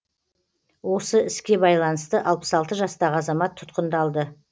осы іске байланысты алпыс алты жастағы азамат тұтқындалды